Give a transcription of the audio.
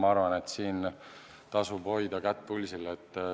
Ma arvan, et siin tasub kätt pulsil hoida.